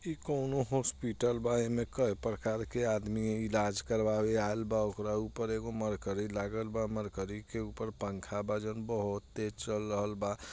इ कोनो हॉस्पिटल बा इमे कई प्रकार के आदमी इलाज करवाए आएल बा ओकरा ऊपर एगो मरकरी लागल बा मरकरी के ऊपर पंखा बा जोन बहुत तेज चल रहल बा।